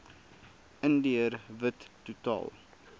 indiër wit totaal